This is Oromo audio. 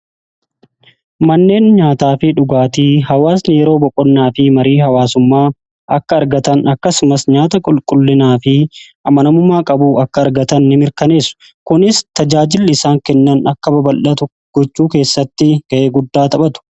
manneen nyaataa fi dhugaatii hawaasni yeroo boqonnaa fi marii hawaasummaa akka argatan akkasumas nyaata qulqullinaa fi amanamumaa qabuu akka argatan ni mirkaneessu kunis tajaajilli isaan kennan akka babaldhatu gochuu keessatti ga'ee guddaa taphatu.